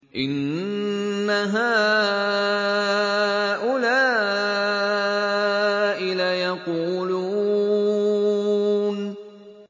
إِنَّ هَٰؤُلَاءِ لَيَقُولُونَ